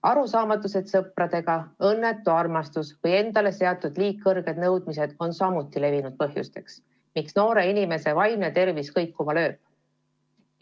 Arusaamatused sõpradega, õnnetu armastus või endale seatud liiga kõrged nõudmised on samuti levinud põhjused, miks noore inimese vaimne tervis kõikuma lööb.